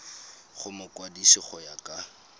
go mokwadise go ya ka